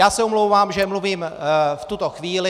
Já se omlouvám, že mluvím v tuto chvíli.